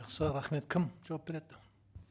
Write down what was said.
жақсы рахмет кім жауап береді